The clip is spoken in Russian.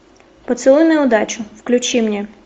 поцелуй на удачу включи мне